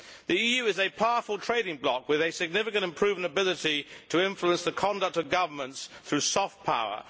The EU is a powerful trading bloc with a significant and proven ability to influence the conduct of governments through soft power.